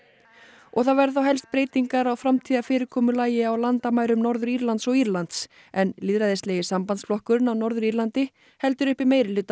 og það væru þá helst breytingar á framtíðarfyrirkomulagi á landamærum Norður Írlands og Írlands en lýðræðislegi sambandsflokkurinn á Norður Írlandi heldur uppi meirihluta